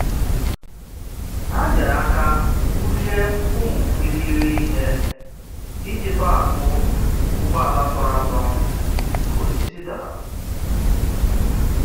Ha nyere aka bulie ụmụ irighiri ihe iji tọhapụ ụgbọala tọrọ atọ mgbe osisi dara.